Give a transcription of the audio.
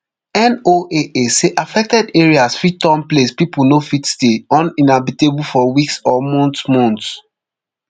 noaa say affected areas fit turn place pipo no fit stay uninhabitable for weeks or months months